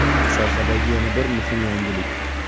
Sohadagi yana bir muhim yangilik.